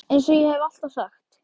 Eins og ég hef alltaf sagt.